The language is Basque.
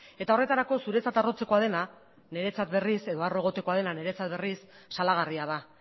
horretarako zuretzat harrotzekoa dena niretzat berriz salagarria da